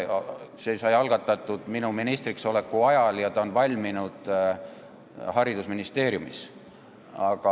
See sai algatatud minu ministriks oleku ajal ja ta on valminud haridusministeeriumis.